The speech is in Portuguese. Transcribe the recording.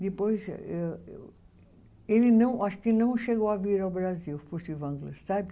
Depois, eu ele não, eu acho que não chegou a vir ao Brasil, o Furtwängler, sabe?